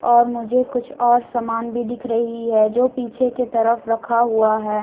और मुझे कुछ और सामान भी दिख रही हैं जो पीछे की तरफ रखा हुआ हैं।